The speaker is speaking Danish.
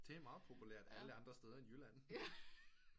Det er meget populært alle andre steder end Jylland